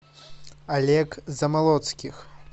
олег замолоцких